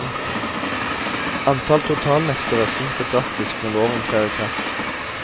Antall totalnektere synker drastisk når loven trer i kraft.